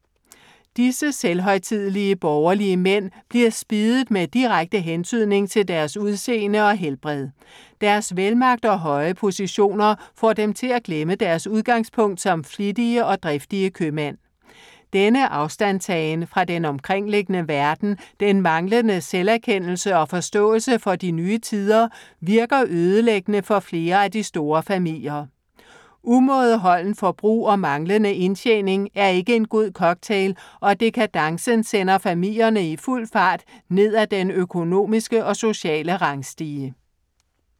Disse selvhøjtidelige borgerlige mænd bliver spiddet med direkte hentydning til deres udseende og helbred. Deres velmagt og høje positioner får dem til at glemme deres udgangspunkt som flittige og driftige købmænd. Denne afstandstagen fra den omkringliggende verden, den manglende selverkendelse og forståelse for de nye tider virker ødelæggende for flere af de store familier. Umådeholdent forbrug og manglende indtjening er ikke en god cocktail, og dekadencen sender familierne i fuld fart ned af den økonomiske og sociale rangstige.